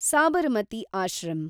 Sabarmati ashram